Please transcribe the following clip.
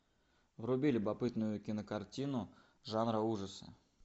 вруби любопытную кинокартину жанра ужасы